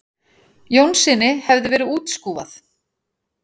Jónssyni hefði verið útskúfað.